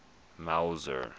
mauzer